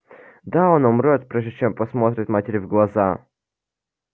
да она умрёт прежде чем посмотрит матери в глаза